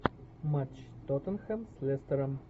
матч тоттенхэм с лестером